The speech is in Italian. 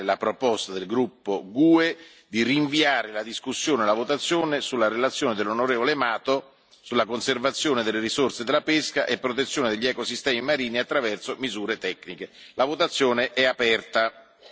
Metto ai voti per appello nominale la proposta del gruppo GUE NGL di rinviare la discussione e la votazione sulla relazione dell'on. Mato sulla conservazione delle risorse della pesca e protezione degli ecosistemi marini attraverso misure tecniche.